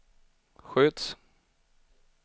sköts